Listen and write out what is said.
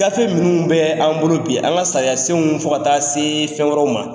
Gafe minnu bɛ an bolo bi an ka sariya senw fo taa se fɛn wɛrɛw ma.